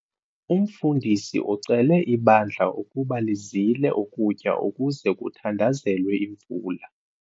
Umfundisi ucele ibandla ukuba lizile ukutya ukuze kuthandazelwe imvula.